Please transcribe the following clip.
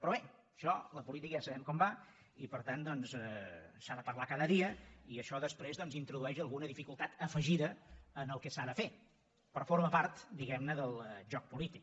però bé això la política ja sabem com va i per tant s’ha de parlar cada dia i això després introdueix alguna dificultat afegida al que s’ha de fer però forma part diguem ne del joc polític